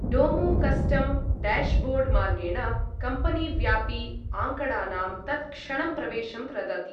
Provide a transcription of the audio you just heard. डोमो custom dashboard मार्गेण कम्पनीव्यापी आँकडानां तत्क्षणं प्रवेशं प्रदाति।